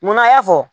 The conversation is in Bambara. Munna a y'a fɔ